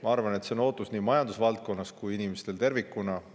Ma arvan, et see ootus on nii majandusvaldkonnas kui ka inimestel tervikuna.